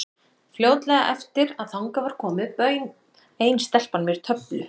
Fljótlega eftir að þangað var komið bauð ein stelpan mér töflu.